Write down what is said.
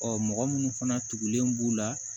Ɔ mɔgɔ minnu fana tugulen b'u la